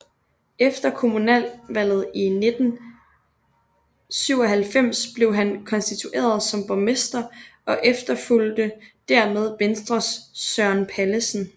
Efter kommunalvalget 1997 blev han konstitueret som borgmester og efterfulgte dermed Venstres Søren Pallesen